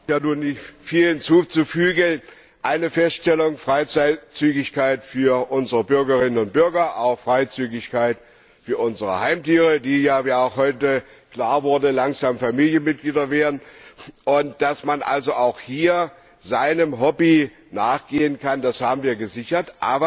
Herr Präsident! Dem ist ja nun nicht viel hinzuzufügen. Eine Feststellung Freizügigkeit für unsere Bürgerinnen und Bürger, auch Freizügigkeit für unsere Heimtiere, die wie ja auch heute klar wurde langsam Familienmitglieder werden, und dass man also auch hier seinem Hobby nachgehen kann das haben wir gesichert.